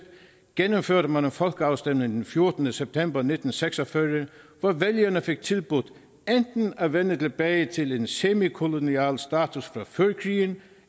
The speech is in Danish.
gennemførte man en folkeafstemning den fjortende september nitten seks og fyrre hvor vælgerne fik tilbudt enten at vende tilbage til en semikolonial status fra før krigen